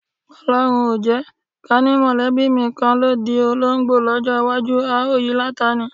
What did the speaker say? O̩ló̩run o jé̩! Ká ní mò̩lé̩bí mi kan ló di olóńgbò ló̩jó̩ iwájú, a ó yi láta ni.